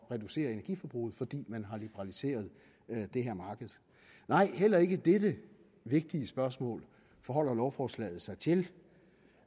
reducere energiforbruget fordi man har liberaliseret det her marked nej heller ikke dette vigtige spørgsmål forholder lovforslaget sig til